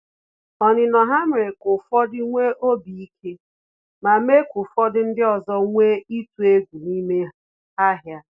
Onino ha mere ka ụfọdụ nwee obi ike, ma mee ka ofodu ndị ọzọ nwee itu egwu n’ime ahịa